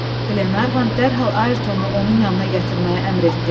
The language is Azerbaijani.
Qlenarvan dərhal Ayertonu onun yanına gətirməyə əmr etdi.